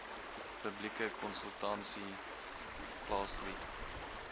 publieke konsultasie plaasgevind